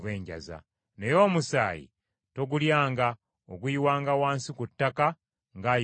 Naye omusaayi togulyanga, oguyiwanga wansi ku ttaka ng’ayiwa amazzi.